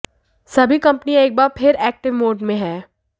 सभी कंपनियां एक बार फिर एक्टिव मोड में हैं